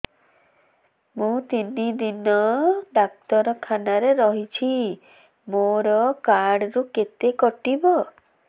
ମୁଁ ତିନି ଦିନ ଡାକ୍ତର ଖାନାରେ ରହିଛି ମୋର କାର୍ଡ ରୁ କେତେ କଟିବ